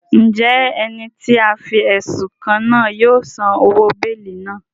Njẹ ẹni ti a fi ẹsun kàn náà yóò san òwò beeli náà?